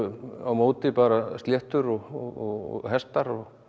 á móti bara sléttur og hestar og